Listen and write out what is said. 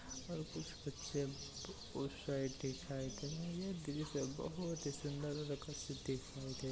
और कुछ बच्चे उस साइड दिखाई दे रहे हैं। बीच में बहुत ही सुंदर दिखाई दे --